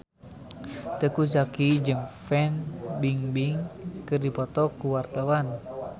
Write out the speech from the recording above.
Teuku Zacky jeung Fan Bingbing keur dipoto ku wartawan